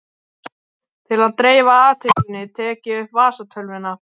Til að dreifa athyglinni tek ég upp vasatölvuna.